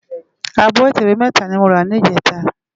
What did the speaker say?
Ábò itèwé mètá ni mó rá nijètá